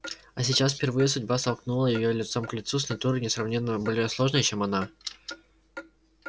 а сейчас впервые судьба столкнула её лицом к лицу с натурой несравненно более сложной чем она